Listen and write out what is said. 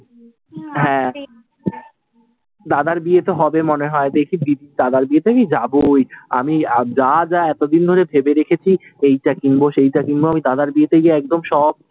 হ্যাঁ দাদার বিয়ে তো হবে মনে হয়। দেখি, দিদি দাদার বিয়েতে আমি যাবই আমি যা যা এত দিন ধরে ভেবে রেখেছি এইটা কিনবো, সেইটা কিনবো, আমি দাদার বিয়েতে গিয়ে একদম সব,